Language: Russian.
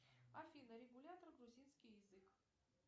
афина регулятор грузинский язык